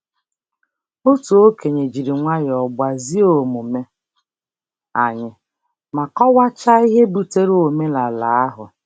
Otu okenye jiri nwayọọ gbazie omume anyị, ma kọwakwa ihe butere omenala ahụ.